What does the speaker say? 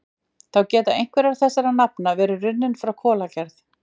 Þá geta einhver þessara nafna verið runnin frá kolagerð.